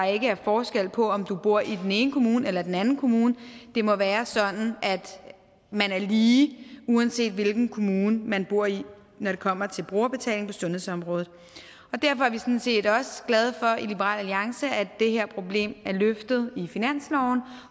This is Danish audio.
ikke er forskel på om du bor i den ene kommune eller den anden kommune det må være sådan at man er lige uanset hvilken kommune man bor i når det kommer til brugerbetaling på sundhedsområdet derfor er vi sådan set også glade for i liberal alliance at det her problem er løftet i finansloven